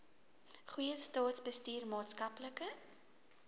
goeie staatsbestuur maatskaplike